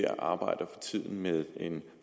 arbejder med en